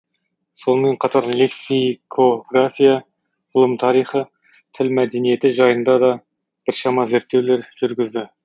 сонымен қатар лексикография ғылым тарихы тіл мәдениеті жайында да біршама зерттеулер жүргізді